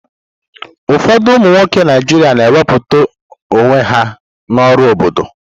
Ụfọdụ ụmụ nwoke Naijiria na wepụta onwe ha n'ọrụ obodo.